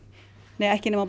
nei ekki nema